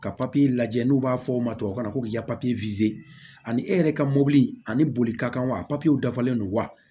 Ka papiye lajɛ n'u b'a fɔ o ma tubabukan na ko k'i ka papiye ani e yɛrɛ ka mobili ani bolikakan wa papiyew dafalen don wa